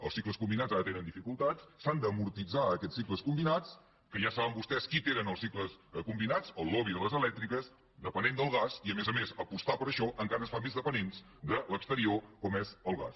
els cicles combinats ara tenen dificultats s’han d’amortitzar aquests cicles combinats que ja saben vostès qui té els cicles combinats el lobby de les elèctriques dependent del gas i a més a més apostar per això encara ens fa més dependents de l’exterior com és el gas